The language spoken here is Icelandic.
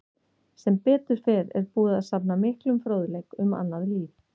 Sem betur fer er búið að safna miklum fróðleik um annað líf.